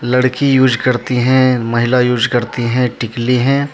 लड़की यूज करती हैं महिला यूज करती हैंटिकली हैं।